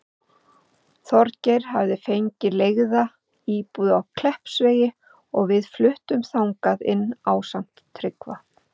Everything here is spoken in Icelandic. Þorgeir hafði fengið leigða íbúð á Kleppsvegi og við fluttum þangað inn ásamt Tryggva.